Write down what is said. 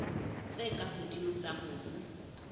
tse ka hodimo tsa mobu